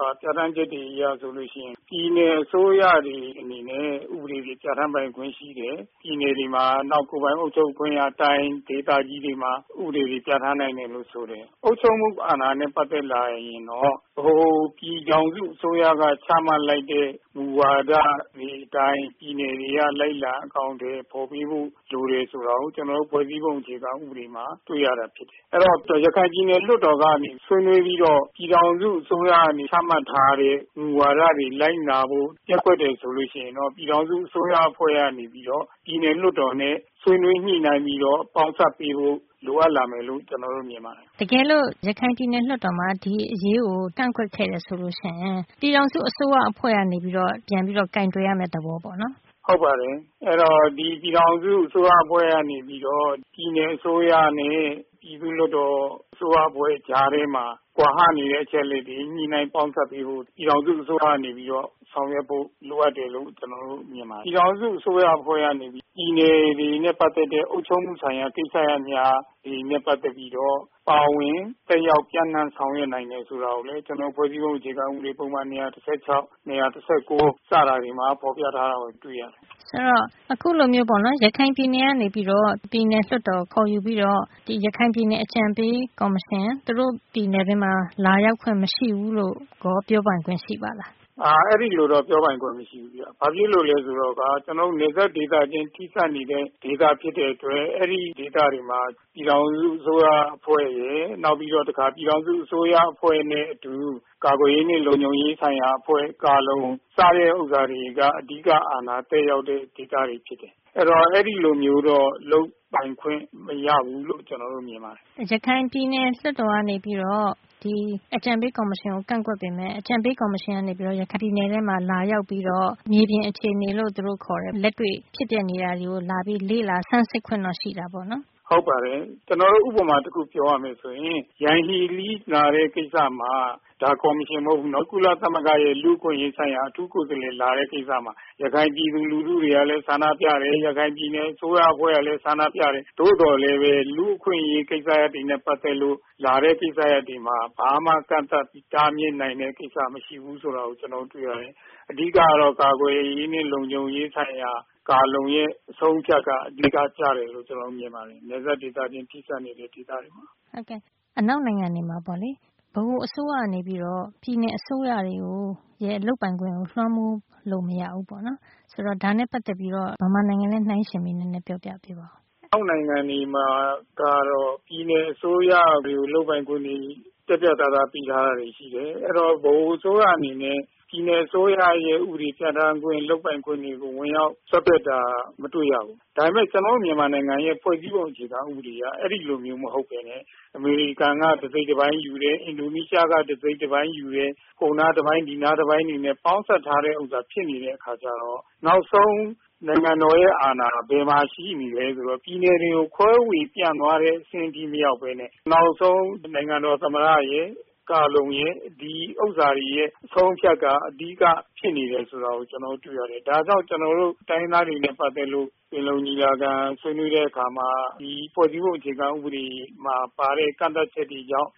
ပါ ပြဌာန်းချက်တွေ အရဆိုရင် ပြည်နယ်အစိုးရတွေအနေနဲ့ ဥပဒေတွေ ပြဌာန်းပိုင်ခွင့်ရှိတယ်၊ပြည်နယ်တွေမှာ နောက် ကိုယ်ပိုင်အုပ်ချုပ်ခွင့်ရ တိုင်း ၊ ဒေသကြီးတွေမှာ ဥပဒေတွေ ပြဌာန်း နိုင်တယ်လို့ ဆိုတယ်။ အုပ်ချုပ်မှုအာဏာနဲ့ ပတ်သက်ရင်တော့ ပြည်ထောင်စုအစိုးရက ချမှတ်လိုက်တဲ့ မူဝါဒတွေ ကျန်ပြည်နယ် ၊ တိုင်း တွေက လိုက်လံအကောင်အထည် ဖော်ပေးဖို့ လိုတယ်ဆိုတာကို ကျနော်တို့ ဖွဲ့စည်းပုံ အခြေခံ ဥပဒေမှာ တွေ့ရတာဖြစ်တယ်။ အဲဒီတော့ ရခိုင်ပြည်နယ်လွှတ်တော်ကနေပြီးတော့ ဆွေးနွေးပြီးတော့ ပြည်ထောင်စုအစိုးရကနေ ချမှတ်ထားတဲ့ မူဝါဒတွေကို လိုက်နာဖို့ ပျက်ကွက်တယ်ဆိုရင် ပြည်ထောင်စုအစိုးရအဖွဲ့ကနေပြီးတော့ ပြည်နယ်လွှတ်တော်နဲ့ ဆွေးနွေးညှိနှိုင်းပြီးတော့ ပေါင်းစပ်ပေးဖို့ လိုအပ်လာမယ်လို့ ကျနော်မြင်ပါတယ်။ မေး။ ။ တကယ်လို့ ရခိုင်ပြည်နယ်လွှတ်တော်မှာ ဒီအရေးကို ကန့်ကွက်ခဲ့တယ်ဆိုရင် ပြည်ထောင်စုအစိုးရအဖွဲ့ကနေပြီးတော့ ပြန်ပြီးတော့ ကိုင်တွယ်ရမယ့် သဘောပေါ့နော်။ ဖြေ။ ။ ဟုတ်ပါတယ်။ အဲဒီတော့ ဒီပြည်ထောင်စုအစိုးရအဖွဲ့ကနေ ပြည်နယ်အစိုးရ နဲ့ ပြည်သူ့လွှတ်တော်အစိုးရအဖွဲ့ ကြားထဲမှာ ကွာဟနေတဲ့ အချက်အလက်တွေ ညှိနှိုင်းပေါင်းစပ်ပေးဖို့ ပြည်ထောင်စုအစိုးရအဖွဲ့ကနေပြီးတော့ ဆောင်ရွက်ဖို့ လိုအပ်တယ်လို့ ကျနော် မြင်ပါတယ်။ ပြည်ထောင်စုအစိုးရအဖွဲ့ကနေပြီးတော့ ပြည်နယ်တွေနဲ့ ပတ်သက်တဲ့ အုပ်ချုပ်မှုဆိုင်ရာ ကိစ္စရပ်များတွေနဲ့ ပတ်သက်ပြီးတော့ ပါဝင် သက်ရောက် ပြန့်နှံ့ဆောင်ရွက် နိုင်တယ်ဆိုတာကိုလည်း ဖွဲ့စည်းပုံအခြေခံ ပုဒ်မ ၂၁၆ ၊ ၂၁၉ တွေမှာ ဖော်ပြထားတာကို တွေ့ရတယ်။ မေး။ ။ ဆိုတော့ အခုလိုမျိုးပေါ့နော် ရခိုင်ပြည်နယ်ကနေပြီးတော့ ပြည်နယ်လွှတ်တော် ခေါ်ယူပြီးတော့ ဒီရခိုင်ပြည်နယ်အကြံပေးကော်မရှင် သူတို့ ပြည်နယ်အတွင်းမှာ လာရောက် ခွင့်မရှိဘူးလို့ကော ပြောပိုင်ခွင့်ရှိလား။ ဖြေ။ ။ အဲဒီလိုတော့ ပြောပိုင်ခွင့်မရှိဘူးဗျ ။ ဘာဖြစ်လို့လဲဆိုတော့ ကျနော်တို့ နယ်စပ်ဒေသချင်း ထိစပ်နေတဲ့ ဒေသဖြစ်တဲ့အတွက် အဲဒီဒေသတွေမှာ ပြည်ထောင်စုအစိုးရအဖွဲ့ရယ်၊ နောက်ပြီးတော့ တခါ ပြည်ထောင်စုအစိုးရအဖွဲ့နဲ့အတူ ကာကွယ်ရေးနဲ့ လုံခြုံရေးဆိုင်ရာအဖွဲ့ ကာလုံ စတာတွေက အဓိက အာဏာ သက်ရောက်တဲ့ ဒေသတွေဖြစ်တယ်။ အဲဒီတော့ အဲလိုမျိုးတော့ လုပ်ပိုင်ခွင့်မရဘူးလို့တော့ ကျနော်တို့မြင်ပါတယ်။ မေး။ ။ရခိုင်ပြည်နယ်လွှတ်တော်ကနေပြီးတော့ အကြံပေးကော်မရှင်ကို ကန့်ကွက်ပေမယ့် အကြံပေးကော်မရှင်က ရခိုင်ပြည်နယ်ထဲမှာ လာရောက်ပြီးတော့ မြေပြင် အခြေအနေလို့သူတို့ခေါ်တဲ့ လက်တွေ့ ဖြစ်ပျက်နေတာတွေကို လာပြီးလေ့လာ ဆန်းစစ်ခွင့်တော့ ရှိတာပေါ့နော်။ ဖြေ။။ ဟုတ်ပါတယ်။ ဥပမာ တခုပြောရမယ်ဆိုရင် - ယန်ဟီးလီ လာတဲ့ကိစ္စမှာ ဒါကော်မရှင်မဟုတ်ဘူး ကုလသမဂ္ဂရဲ့ လူ့အခွင့်အရေးဆိုင်ရာ အထူးကိုယ်စားလှယ်လာတဲ့ ကိစ္စမှာ ရခိုင် ပြည်သူလူထုတွေကလည်း ဆန္ဒပြတယ်၊ ရခိုင် အစိုးရအဖွဲ့ကလည်း ဆန္ဒပြတယ် သို့သော်လည်း လူ့အခွင့်အရေး ကိစ္စရပ်တွေနဲ့ ပတ်သက်လို့ လာတဲ့ ကိစ္စတွေမှာ ဘာမှ ကန့်သတ်တားမြစ်နိုင်တဲ့ ကိစ္စ မရှိဘူးဆိုတာကို ကျနော် တွေ့ရတယ်။ အဓိကကတော့ ကာကွယ်ရေးနဲ့ လုံခြုံရေး ဆိုင်ရာ ကာလုံရဲ့ အဆုံးအဖြတ်က အဓိက ကျတယ်လို့ ကျနော်မြင်ပါတယ်။ နယ်စပ်ဒေသချင်း ထိစပ်နေတဲ့ ဒေသတွေမှာ ။ မေး။ ။ အနောက်နိုင်ငံတွေမှာပေါ့လေ ဗဟိုအစိုးရကနေပြီးတော့ ပြည်နယ်အစိုးရတွေကို လုပ်ပိုင်ခွင့်ကို လွှမ်းမိုး လို့ မရဘူးပေါ့နော်။ ဆိုတော့ ဒါနဲ့ ပတ်သက်ပြီးတော့ မြန်မာနိုင်ငံနဲ့ နှိုင်းယှဉ် ပြီး နည်းနည်းပြောပြပေးပါ။ ဖြေ။ ။ အနောက်နိုင်ငံတွေမှာကတော့ ပြည်နယ်အစိုးရတွေကို လုပ်ပိုင်ခွင့်ကို ပြတ်ပြတ်သားသားပေးထားတာတွေရှိတယ် ။ အဲဒီတော့ ဗဟိုအစိုးရအနေနဲ့ ပြည်နယ်အစိုးရရဲ့ ဥပဒေတွေ ပြဌာန်းခွင့် လုပ်ပိုင်ခွင့်တွေကို ဝင်ရောက်စွက်ဖက်တာ မတွေ့ရဘူး။ ဒါပေမယ့် ကျနော်တို့ မြန်မာနိုင်ငံရဲ့ ဖွဲ့စည်းပုံအခြေခံဥပဒေအရ အဲဒီလိုမျိုးမဟုတ်ပဲနဲ့ အမေရိကန်က တစိတ်တပိုင်းယူတယ် အင်ဒိုနီးရှားက တစိတ်တပိုင်းယူတယ် ဟိုနားတပိုင်း ဒီနားတပိုင်းတွေနဲ့ ပေါင်းစပ်ထားတဲ့ဟာ ဖြစ်နေတဲ့အခါကျတော့ နောက်ဆုံး နိုင်ငံတော်ရဲ့ အာဏာ ဘယ်မှာရှိနေသလဲဆိုတော့ ပြည်နယ်တွေကို ခွဲဝေပြန့်သွားတဲ့ အဆင့်ထိမရောက်ပဲ နဲ့ နောက်ဆုံး နိုင်ငံတော် သမ္မတရယ်၊ ကာလုံရယ် ဒီလူတွေရဲ့ အဆုံးအဖြတ်က အဓိက ဖြစ်နေတယ်ဆိုတာကို ကျနော်တို့ တွေ့ရတယ်။ ဒါကြောင့်ကျနော်တို့ တိုင်းရင်းသားတွေနဲ့ ပတ်သက်လို့ ပင်လုံညီလာခံဆွေးနွေးတဲ့အခါမှာ ဒီဖွဲ့စည်းပုံအခြေခံဥပဒေမှာ ပါတဲ့ ကန့်သတ်ချက်တွေကြောင့်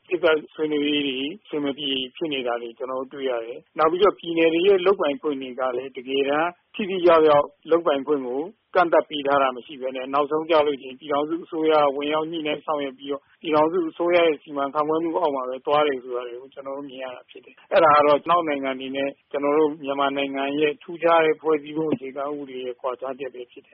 ဆွေးနွေးတာတွေ အဆင်မပြေ ဖြစ်နေတာတွေ ကျနော်တို့ တွေ့ရတယ်။ နောက်ပြီးတော့ ပြည်နယ်တွေရဲ့ လုပ်ပိုင်ခွင့်တွေကလည်း တကယ်တမ်း ထိထိရောက်ရောက် လုပ်ပိုင်ခွင့်ကို ကန့်သတ်ပေးထားတာ မရှိပဲနဲ့ နောက်ဆုံးကျရင် ပြည်ထောင်စုအစိုးရ က ဝင်ရောက်ညှိနှိုင်းဆောင်ရွက်ပြီးတော့ ပြည်ထောင်စုအစိုးရစီမံခန့်ခွဲမှုအောက်မှာ ပဲသွားတယ်ဆိုတာကို ကျနော်တို့ မြင်ရတာဖြစ်တယ်။ အဲဒါကတော့ အနောက်နိုင်ငံတွေနဲ့ ကျနော်တို့ မြန်မာနိုင်ငံရဲ့ ထူးခြားတဲ့ ဖွဲ့စည်းပုံအခြေခံဥပဒေ ရဲ့ ကွာခြားချက်ပဲဖြစ်တယ